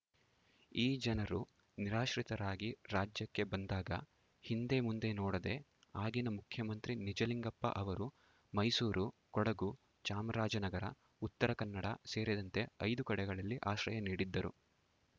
ಈ ಜನರು ನಿರಾಶ್ರಿತರಾಗಿ ರಾಜ್ಯಕ್ಕೆ ಬಂದಾಗ ಹಿಂದೆ ಮುಂದೆ ನೋಡದೆ ಆಗಿನ ಮುಖ್ಯಮಂತ್ರಿ ನಿಜಲಿಂಗಪ್ಪ ಅವರು ಮೈಸೂರು ಕೊಡಗು ಚಾಮರಾಜನಗರ ಉತ್ತರ ಕನ್ನಡ ಸೇರಿದಂತೆ ಐದು ಕಡೆಗಳಲ್ಲಿ ಆಶ್ರಯ ನೀಡಿದ್ದರು